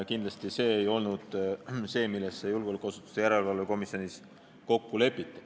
Kindlasti ei olnud see see, milles julgeolekuasutuste järelevalve erikomisjonis kokku oli lepitud.